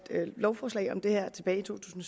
lovforslaget om det her tilbage i to tusind